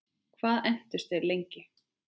Hvað entust þeir lengi?